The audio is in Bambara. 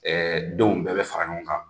denw bɛɛ bɛ fara ɲɔgɔn kan.